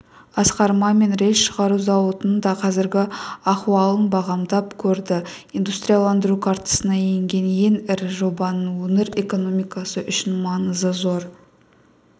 асқар мамин рельс шығару зауытының да қазіргі ахуалын бағамдап көрді индустрияландыру картасына енген ең ірі жобаның өңір экономикасы үшін маңызы зор